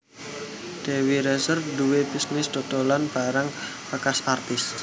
Dewi Rezer nduwe bisnis dodolan barang bekas artis